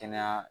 Kɛnɛya